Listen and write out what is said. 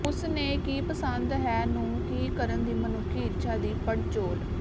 ਉਸ ਨੇ ਕੀ ਪਸੰਦ ਹੈ ਨੂੰ ਕੀ ਕਰਨ ਦੀ ਮਨੁੱਖੀ ਇੱਛਾ ਦੀ ਪੜਚੋਲ